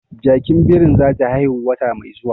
Jakin birin zata haihu wata mai zuwa